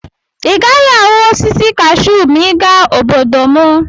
Ị gaghị ahụ osisi kashuu ma ị gaa obodo m.